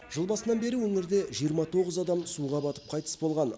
жыл басынан бері өңірде жиырма тоғыз адам суға батып қайтыс болған